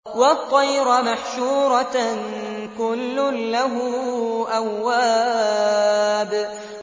وَالطَّيْرَ مَحْشُورَةً ۖ كُلٌّ لَّهُ أَوَّابٌ